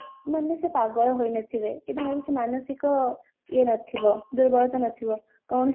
ମାନେ ସେ ପାଗଳ ହୋଇନଥିବେ କି ତାଙ୍କର କିଛି ମାନସିକ ଇଏ ନଥିବ ଦୁର୍ବଳତା ନଥିବ କୌଣସି